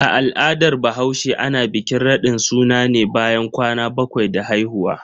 A al'adar bahaushe, ana bikin radin suna ne bayan kwana bakwai da haihuwa.